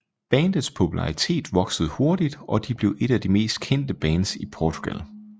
Bandets popularitet voksede hurtigt og de blev et af de mest kendte bands i Portugal